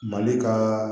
Mali ka